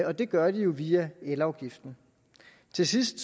og det gør de jo via elafgiften til sidst